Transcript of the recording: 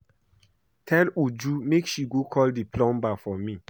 Tell Uju make she go call the plumber for me